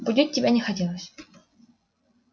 будить тебя не хотелось